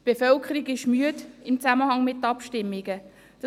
Die Bevölkerung ist im Zusammenhang mit Abstimmungen müde.